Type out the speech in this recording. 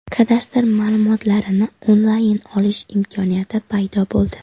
Kadastr ma’lumotlarini onlayn olish imkoniyati paydo bo‘ldi.